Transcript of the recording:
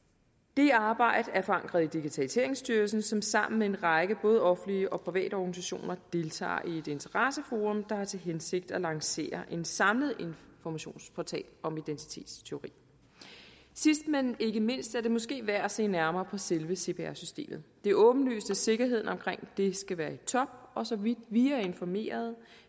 det arbejde er forankret i digitaliseringsstyrelsen som sammen med en række både offentlige og private organisationer deltager i et interesseforum der har til hensigt at lancere en samlet informationsportal om identitetstyveri sidst men ikke mindst er det måske værd at se nærmere på selve cpr systemet det er åbenlyst at sikkerheden omkring det skal være i top og så vidt vi er informeret